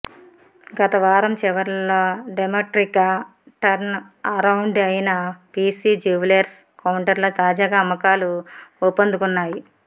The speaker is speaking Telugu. గత వారం చివర్లో డ్రమటిక్గా టర్న్అరౌండ్ అయిన పీసీ జ్యువెలర్స్ కౌంటర్లో తాజాగా అమ్మకాలు ఊపందుకున్నాయి